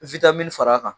far'a kan